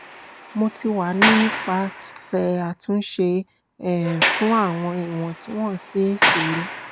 mo ti wa ni nipasẹ atunṣe um fun awọn iwontunwonsi isoro